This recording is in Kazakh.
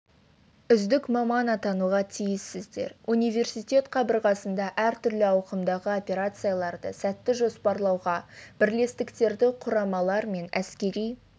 үздік маман атануға тиіссіздер университет қабырғасында әртүрлі ауқымдағы операцияларды сәтті жоспарлауға бірлестіктерді құрамалар мен әскери